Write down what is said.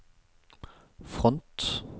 front